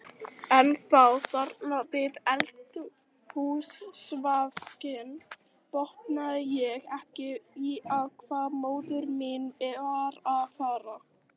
En þá, þarna við eldhúsvaskinn, botnaði ég ekkert í hvað móðir mín var að fara.